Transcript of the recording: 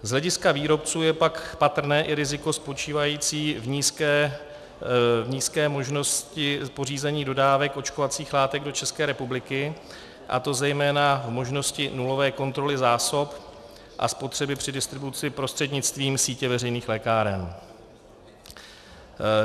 Z hlediska výrobců je pak patrné i riziko spočívající v nízké možnosti pořízení dodávek očkovacích látek do České republiky, a to zejména v možnosti nulové kontroly zásob a spotřeby při distribuci prostřednictvím sítě veřejných lékáren.